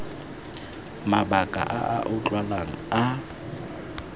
mabaka a a utlwalang a